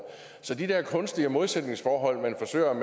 så de der kunstige modsætningsforhold man forsøger at